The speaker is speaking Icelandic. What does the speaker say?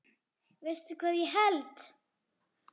Veistu hvað ég held.